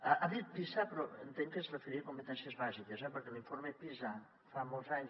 ha dit pisa però entenc que es referia a competències bàsiques eh perquè l’informe pisa fa molts anys